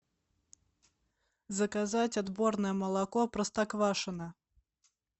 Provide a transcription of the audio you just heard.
заказать отборное молоко простоквашино